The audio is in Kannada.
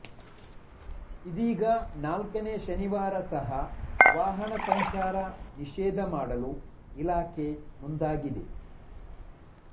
ಇದೀಗ ನಾಲ್ಕನೇ ಶನಿವಾರ ಸಹ ವಾಹನ ಸಂಚಾರ ನಿಷೇಧ ಮಾಡಲು ಇಲಾಖೆ ಮುಂದಾಗಿದೆ